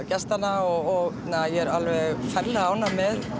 gestanna og ég er alveg ferlega ánægð með